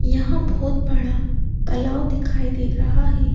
यहाँ बहुत बड़ा तालाब दिखाई दे रहा है।